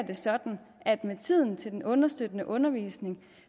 det sådan at med tiden til den understøttende undervisning